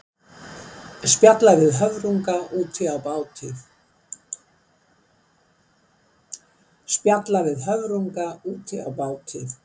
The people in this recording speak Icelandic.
Spjalla við höfrunga úti á báti.